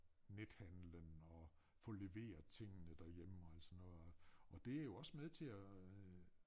Nethandlen og få leveret tingene derhjemme og alt sådan noget og det jo også med til at øh